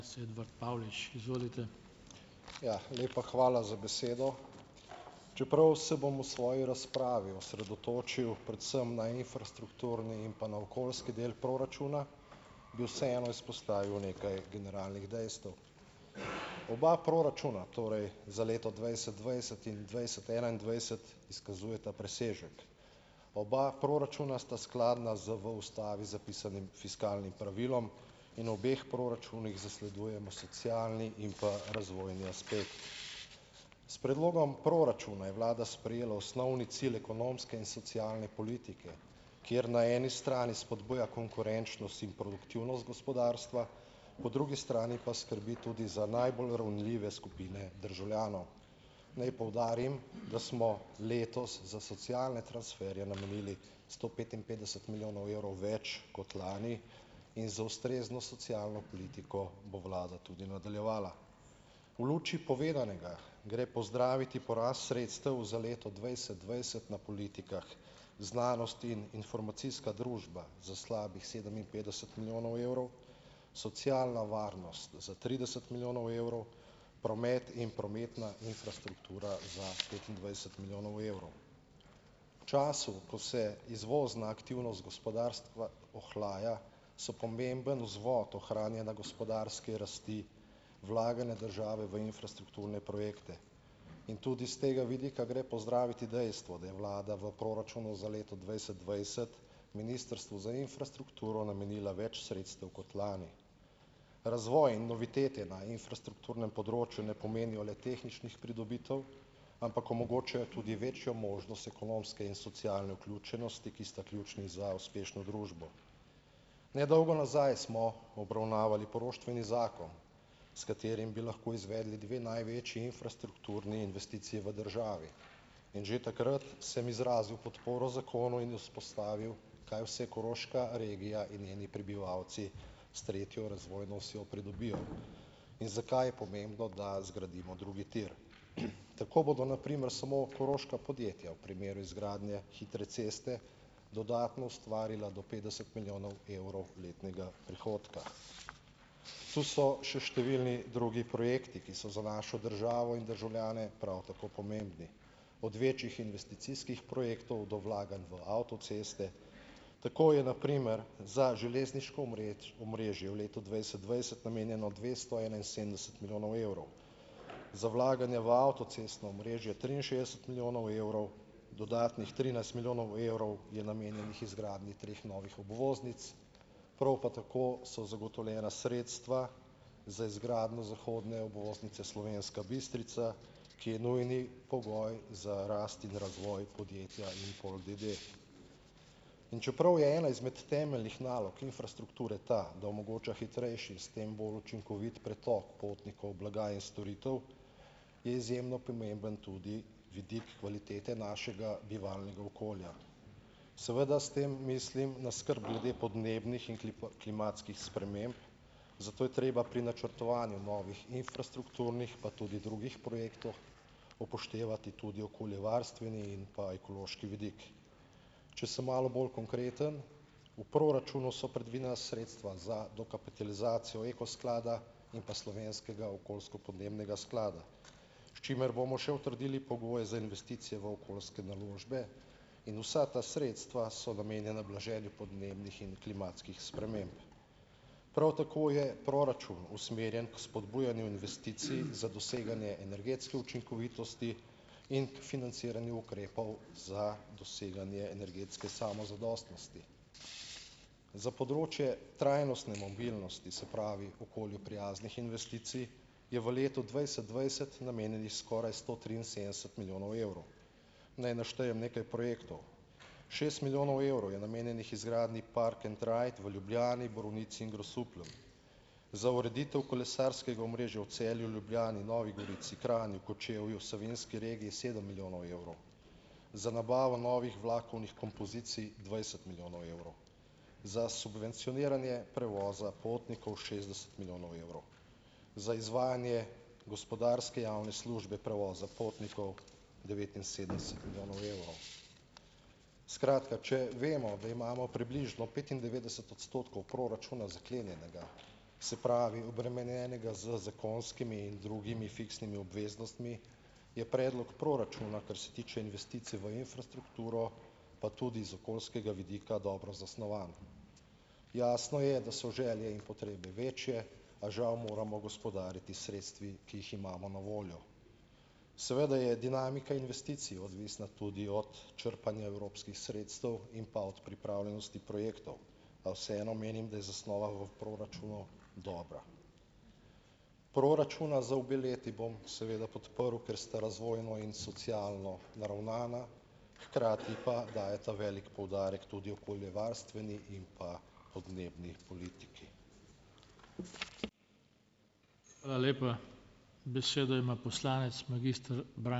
Ja, lepa hvala za besedo, čeprav se bom v svoji razpravi osredotočil predvsem na infrastrukturni in pa na okoljski del proračuna, bi vseeno izpostavil nekaj generalnih dejstev. Oba proračuna torej za leto dvajset dvajset in dvajset enaindvajset izkazujeta presežek, oba proračuna sta skladna z v ustavi zapisanim fiskalnim pravilom in obeh proračunih zasledujemo socialni in pa razvojni aspekt. S predlogom proračuna je vlada sprejela osnovni cilj ekonomske in socialne politike, kjer na eni strani spodbuja konkurenčnost in produktivnost gospodarstva, po drugi strani pa skrbi tudi za najbolj ranljive skupine državljanov. Naj poudarim, da smo letos za socialne transferje namenili sto petinpetdeset milijonov evrov več kot lani in za ustrezno socialno politiko bo vlada nadaljevala, v luči povedanega gre pozdraviti porast sredstev za leto dvajset dvajset na politikah znanost in informacijska družba za slabih sedeminpetdeset milijonov evrov, socialna varnost za trideset milijonov evrov, promet in prometna infrastruktura za petindvajset milijonov evrov. V času, ko se izvozna aktivnost gospodarstva ohlaja, so pomemben vzvod ohranjanja gospodarske rasti vlaganja države v infrastrukturne projekte in tudi iz tega vidika gre pozdraviti dejstvo, da je vlada v proračunu za leto dvajset dvajset ministrstvu za infrastrukturo namenila več sredstev kot lani. Razvoj in novitete na infrastrukturnem področju ne pomenijo le tehničnih pridobitev, ampak omogočajo tudi večjo možnost ekonomske in socialne vključenosti, ki sta ključni za uspešno družbo. Nedolgo nazaj smo obravnavali poroštveni zakon, s katerim bi lahko izvedli dve največji infrastrukturni investiciji v državi, in že takrat sem izrazil podporo zakonu in izpostavil, kaj vse koroška regija in njeni prebivalci s tretjo razvojno osjo pridobijo in zakaj je pomembno, da zgradimo drugi tir. Tako bodo na primer samo koroška podjetja v primeru izgradnje hitre ceste dodatno ustvarila do petdeset milijonov evrov letnega prihodka. Tu so še številni drugi projekti, ki so za našo državo in državljane prav tako pomembni, od večjih investicijskih projektov do vlaganj v avtoceste, tako je na primer za železniško omrežje v letu dvajset dvajset namenjeno dvesto enainsedemdeset milijonov evrov, za vlaganje v avtocestno omrežje triinšestdeset milijonov evrov, dodatnih trinajst milijonov evrov je namenjenih izgradnji treh novih obvoznic, prav pa tako so zagotovljena sredstva za izgradnjo zahodne obvoznice Slovenska Bistrica, ki je nujni pogoj za rast in razvoj podjetja Jupol, da da, in čeprav je ena izmed temeljnih nalog infrastrukture ta, da omogoča hitrejši, s tem bolj učinkovit pretok potnikov blaga in storitev, je izjemno pomemben tudi vidik kvalitete našega bivalnega okolja, seveda s tem mislim na skrb glede podnebnih in klimatskih sprememb, zato je treba pri načrtovanju novih infrastrukturnih pa tudi drugih projektov upoštevati tudi okoljevarstveni in pa ekološki vidik, če sem malo bolj konkreten, v proračunu so predvidena sredstva za dokapitalizacijo Eko sklada in pa slovenskega okoljsko-podnebnega sklada, s čimer bomo še utrdili pogoj za investicije v okoljske naložbe in vsa ta sredstva so namenjena blaženju podnebnih in klimatskih sprememb, prav tako je proračun usmerjen k spodbujanju investicij za doseganje energetske učinkovitosti in financiranju ukrepov za doseganje energetske samozadostnosti. Za področje trajnostne mobilnosti, se pravi, okolju prijaznih investicij je v letu dvajset dvajset namenjenih skoraj sto triinsedemdeset milijonov evrov. Naj naštejem nekaj projektov. Šest milijonov evrov je namenjenih izgradnji park and ride v Ljubljani, Borovnici in Grosuplju, za ureditev kolesarskega omrežja v Celju, Ljubljani, Novi Gorici, Kranju, Kočevju, savinski regiji sedem milijonov evrov, za nabavo novih vlakovnih kompozicij dvajset milijonov evrov, za subvencioniranje prevoza potnikov šestdeset milijonov evrov, za izvajanje gospodarske javne službe prevoza potnikov devetinsedemdeset milijonov evrov. Skratka, če vemo, da imamo približno petindevetdeset odstotkov proračuna zaklenjenega, se pravi, obremenjenega z zakonskimi in drugimi fiksnimi obveznostmi, je predlog proračuna, kar se tiče investicije v infrastrukturo, pa tudi iz okoljskega vidika dobro zasnovan, jasno je, da so želje in potrebe večje, a žal moramo gospodariti s sredstvi, ki jih imamo na voljo, seveda je dinamika investicij odvisna tudi od črpanja evropskih sredstev in pa od pripravljenosti projektov, a vseeno menim, da je zasnova v proračunu dobra. Proračuna za obe leti bom seveda podprl, ker sta razvojno in socialno naravnana, hkrati pa dajeta velik poudarek tudi okoljevarstveni in pa podnebni politiki.